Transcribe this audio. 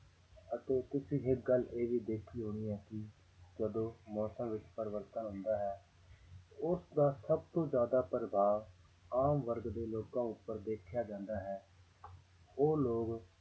ਅਤੇ ਤੁਸੀਂ ਇੱਕ ਗੱਲ ਇਹ ਵੀ ਦੇਖੀ ਹੋਣੀ ਹੈ ਕਿ ਜਦੋਂ ਮੌਸਮ ਵਿੱਚ ਪਰਿਵਰਤਨ ਹੁੰਦਾ ਹੈ, ਉਸਦਾ ਸਭ ਤੋਂ ਜ਼ਿਆਦਾ ਪ੍ਰਭਾਵ ਆਮ ਵਰਗ ਦੇ ਲੋਕਾਂ ਉੱਪਰ ਦੇਖਿਆ ਜਾਂਦਾ ਹੈ ਉਹ ਲੋਕ